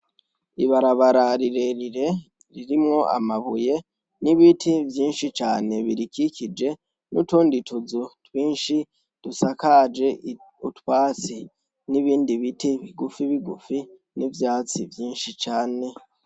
Ibarabara rirerire ririmwo amabuye n'ibiti vyinshi cane birikikije nutundi tuzu twinshi dusakaje utwatsi nibindi biti bigufi bigufi n'vyatsi vyinshi cane.